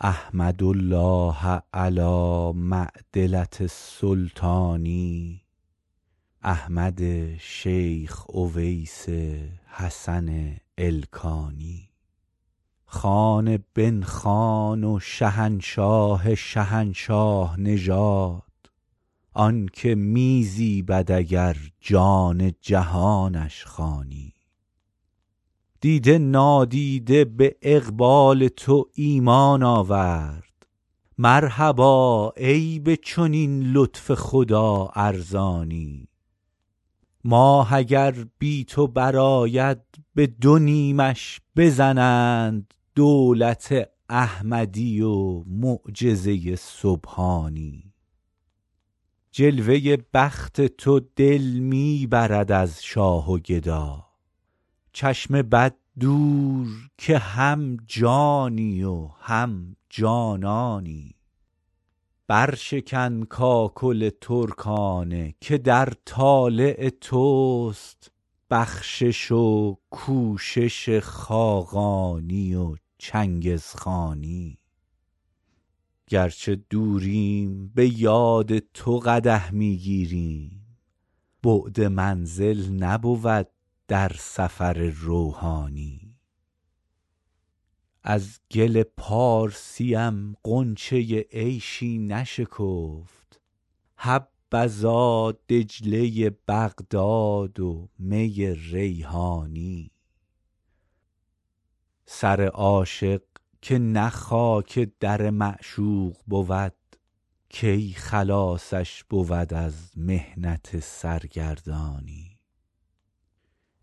احمد الله علی معدلة السلطان احمد شیخ اویس حسن ایلخانی خان بن خان و شهنشاه شهنشاه نژاد آن که می زیبد اگر جان جهانش خوانی دیده نادیده به اقبال تو ایمان آورد مرحبا ای به چنین لطف خدا ارزانی ماه اگر بی تو برآید به دو نیمش بزنند دولت احمدی و معجزه سبحانی جلوه بخت تو دل می برد از شاه و گدا چشم بد دور که هم جانی و هم جانانی برشکن کاکل ترکانه که در طالع توست بخشش و کوشش خاقانی و چنگزخانی گر چه دوریم به یاد تو قدح می گیریم بعد منزل نبود در سفر روحانی از گل پارسیم غنچه عیشی نشکفت حبذا دجله بغداد و می ریحانی سر عاشق که نه خاک در معشوق بود کی خلاصش بود از محنت سرگردانی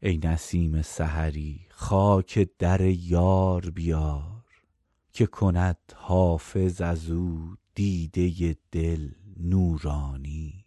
ای نسیم سحری خاک در یار بیار که کند حافظ از او دیده دل نورانی